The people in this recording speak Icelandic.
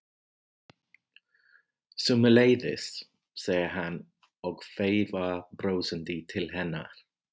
Sömuleiðis, segir hann og veifar brosandi til hennar.